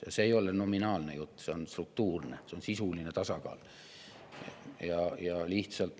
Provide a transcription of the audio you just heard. Ja see ei ole nominaalne, see on struktuurne, juttu on sisulisest tasakaalust.